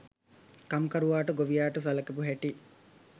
කම්කරුවාට ගොවියාට සලකපු හැටි